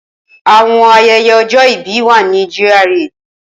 Awọn ayẹyẹ ojo ibi wà ni GRA.